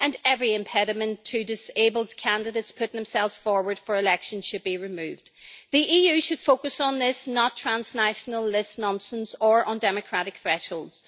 and every impediment to disabled candidates putting themselves forward for election should be removed. The EU should focus on this, and not on transnational list nonsense or undemocratic thresholds.